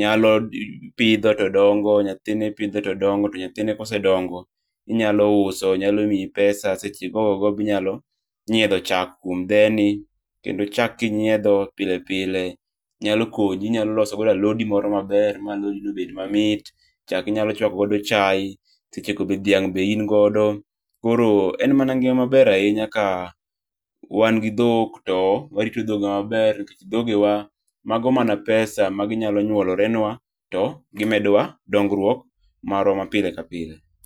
nyalo ,nyathino ipidho to dongo to nyathine kosedongo tinyalo uso, nyalo miyi pesa. Seche goo go inyalo nyiedho chak kuom dheni. Kendo chak kinyiedho pilepile nyalo konyi. Inyalo loso godo alodi moro maber mabed mamit. Chak inyalo chwako godo chaye. Seche go be dhiang' bende in godo. Koro en mana ngima maber ahinya ka wan gi dhok to warito dhogewa maber. Dhogewa, mago mana pesa maginyalo nyoulorenwa, to gimedowa dongruok marwa ma pile kapile.